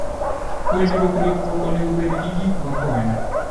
Puonjruok ritruok onego obed gi gik makonyo.